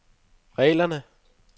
reglerne